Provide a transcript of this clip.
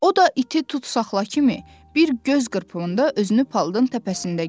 O da iti Tutsaxla kimi, bir göz qırpımında özünü palıdın təpəsində gördü.